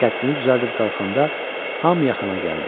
Qəddini düzəldib qalxanda hamı yaxına gəldi.